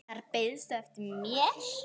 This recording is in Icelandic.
Þar beiðstu eftir mér.